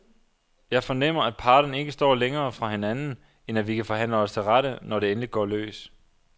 Jeg fornemmer, at parterne ikke står længere fra hinanden, end at vi kan forhandle os til rette, når det endelig går løs.